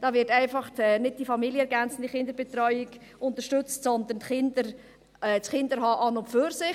Da wird nicht die familienergänzende Kinderbetreuung unterstützt, sondern das Kinderhaben an und für sich.